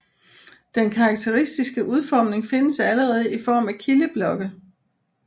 Den karakteristiske udformning findes allerede i form af kildeblokke